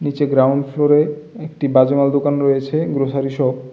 নীচে গ্রাউন্ড ফ্লোরে একটি মাল দোকান রয়েছে গ্রোসারি শপ ।